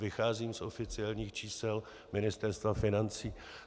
Vycházím z oficiálních čísel Ministerstva financí.